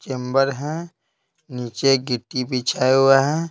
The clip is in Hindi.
चेंबर है नीचे गिट्टी बिछाया हुआ है।